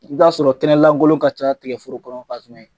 I b'a sɔrɔ kɛnɛlankolon ka ca tigaforo kɔnɔ